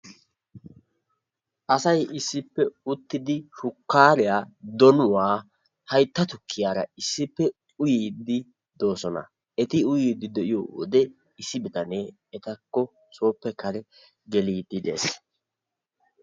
Asay issippe uttidi shukaariya, donuwa, haytta tukkiyara issippe uyiidi de'oososna, eti uyiidi de'iyode issi bitanee etakko soppe kareppe geliidi de'ees.